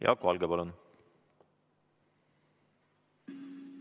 Jaak Valge, palun!